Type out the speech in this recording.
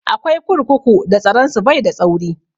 Akwai kurkuku da tsaron su bai da tsauri